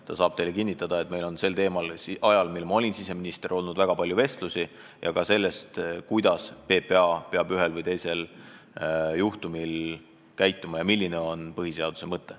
Ta saab teile kinnitada, et meil oli ajal, mil ma olin siseminister, väga palju vestlusi sel teemal ja ka teemal, kuidas PPA peab ühel või teisel juhtumil käituma ja milline on põhiseaduse mõte.